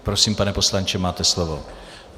Prosím, pane poslanče, máte slovo.